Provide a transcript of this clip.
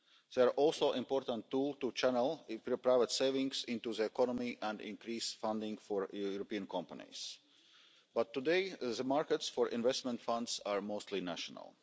They are also an important tool to channel private savings into the economy and increase funding for European companies. But today the markets for investment funds are mostly national.